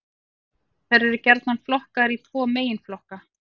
Þær eru gjarnan flokkaðar í tvo meginflokka.